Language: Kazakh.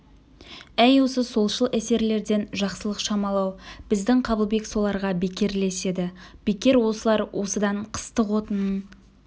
әй осы солшыл эсерлерден жақсылық шамалы-ау біздің қабылбек соларға бекер ілеседі бекер осылар осыдан қыстық отынын